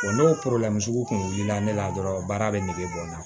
n'o sugu kun wulila ne la dɔrɔn baara bɛ nege bɔ n na